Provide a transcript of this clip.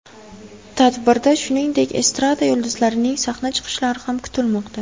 Tadbirda, shuningdek, estrada yulduzlarining sahna chiqishlari ham kutilmoqda.